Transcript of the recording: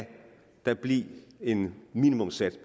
at der bliver en minimumssats